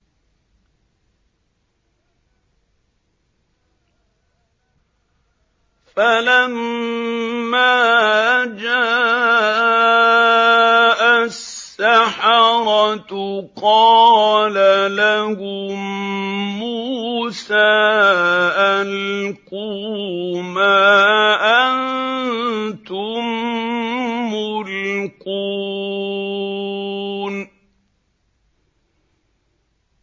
فَلَمَّا جَاءَ السَّحَرَةُ قَالَ لَهُم مُّوسَىٰ أَلْقُوا مَا أَنتُم مُّلْقُونَ